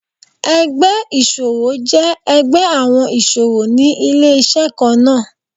Ẹgbẹ́ ìṣòwò jẹ́ ẹgbẹ́ àwọn ìṣòwò ní ilé-iṣẹ́ kan náà.